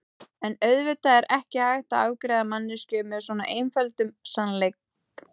En auðvitað er ekki hægt að afgreiða manneskju með svo einföldum sannleik.